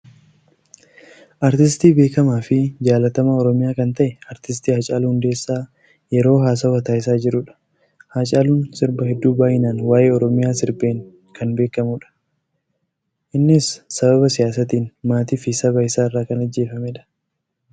Aartiistii beekamaafi jaallatamaa oromiyaa kan ta'e aartiist Hacaaluu Hundeessaa yeroo haasawaa taasisaa jirudha. Hacaaluun sirba heedduu baay'inaan waa'ee oromiyaa sirbeen kan beekamudha. Innis sababa siyaasatiin maatiifi saba isaarraa kan ajjeefameedha.